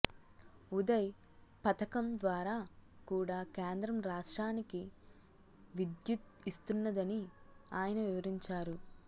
ఉదయ్ పథకం ద్వారా కూడా కేంద్రం రాష్ట్రానికి విద్యుత్తు ఇస్తున్నదని ఆయన వివరించారు